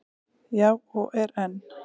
Já, og er enn.